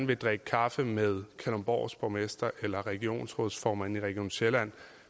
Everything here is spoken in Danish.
vil drikke kaffe med kalundborgs borgmester eller regionsrådsformanden i region sjælland